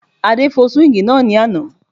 Adé fọ́ súwíngì náà ní àná